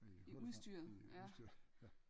I hullet i udstyret ja